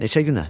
Neçə günə?